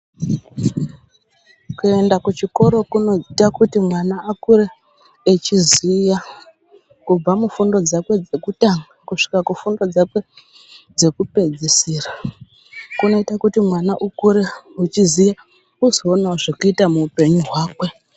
Kuenda kuchikora kunoita kuti mwana akure achiziya kubva mufundo dzakwe dzekutanaga kusvika kufundo dzakwe dzekupedzisira kunoita kuti mwana ukure uchiziya uzoonawo zvekuita muhupenyu hwakwe.